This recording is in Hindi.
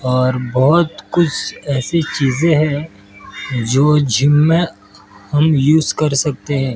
और बहुत कुछ ऐसी चीज हैं जो जिम में हम युज कर सकते हैं।